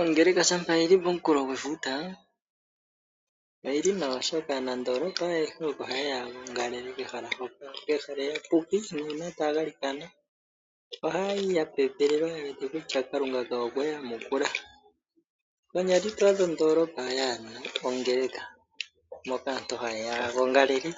Ongeleka shampa yi li pomunkulo gwefuta, oyi li nawa, oshoka aanandoolopa ayehe oko haye ya ya gongale kehala mpoka. Pehala eyapuki, nuuna taya galikana ohaya yi ya pepelelwa ye wete kutya Kalunga kawo okwe ya yamukula. Konyala ito adha ondoolopa mwaa na ongeleka moka aantu haye ya ya gongalele